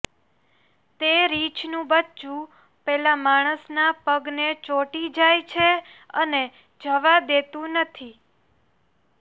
તે રીંછનુ બચ્ચુ પેલા માણસના પગને ચોંટી જાય છે અને જવા દેતું નથી